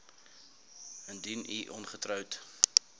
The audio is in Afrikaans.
indien u ongetroud